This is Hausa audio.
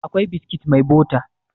akwai biskit mai bota